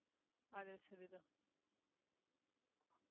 அது சரிதான்